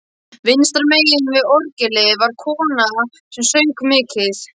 Vinstra megin við orgelið var kona sem söng mikið.